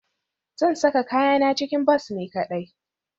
Zan saka kayana cikin bas ni kadai